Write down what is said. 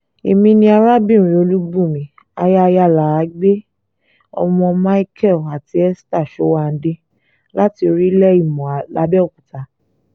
èmi ni arábìnrin olùbùnmi aya ayalàágbẹ́ ọmọ micheal àti esther sowande láti orílẹ̀ ìmọ̀ làbẹ́òkúta